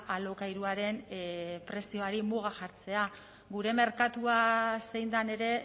alokairuaren prezioari muga jartzea gure merkatua zein den ere